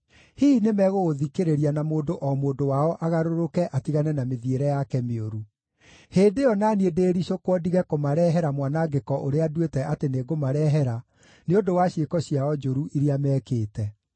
Hihi nĩmegũgũthikĩrĩria na mũndũ o mũndũ wao agarũrũke atigane na mĩthiĩre yake mĩũru. Hĩndĩ ĩyo na niĩ ndĩĩricũkwo ndige kũmarehera mwanangĩko ũrĩa nduĩte atĩ nĩngũmarehera, nĩ ũndũ wa ciĩko ciao njũru iria mekĩte.